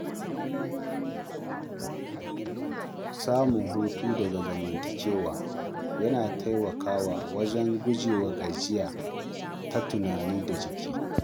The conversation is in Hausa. Samun hutu daga zamantakewa yana taimakawa wajen gujewa gajiya ta tunani da jiki.